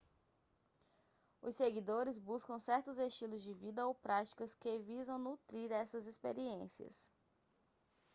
os seguidores buscam certos estilos de vida ou práticas que visam nutrir essas experiências